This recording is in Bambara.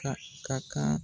Ka ka kan.